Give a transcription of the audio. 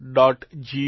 gov